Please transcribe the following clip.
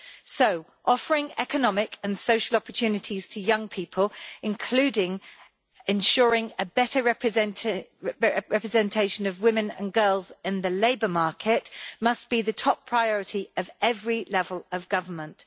So offering economic and social opportunities to young people, including ensuring the better representation of women and girls in the labour market, must be the top priority at every level of government.